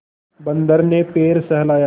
बंदर ने पैर सहलाया